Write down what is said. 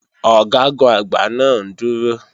Ọ̀gágun-Àgbá náà ń dúró